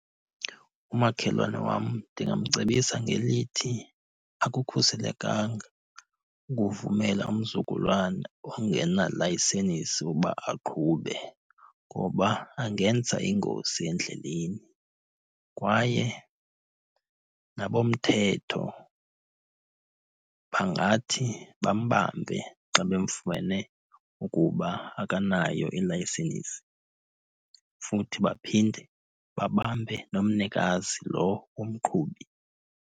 Umakhelwane wam ndingamcebisa ngelithi akukhuselekanga ukuvumela umzukulwana ongenalayisenisi ukuba aqhube ngoba angenza ingozi endleleni. Kwaye nabomthetho bangathi bambambe xa bemfumene ukuba akanayo ilayisenisi. Futhi baphinde babambe nomnikazi lo umqhubi.